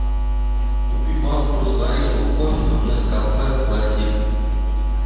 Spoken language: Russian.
купи банку растворимого кофе нескафе классик